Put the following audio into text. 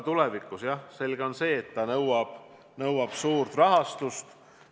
On selge, et see projekt nõuab suurt rahastust.